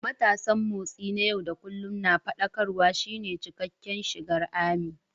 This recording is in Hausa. Matasan Motsi na yau da kullun na Faɗakarwa" shine cikakken sigar "ARMY."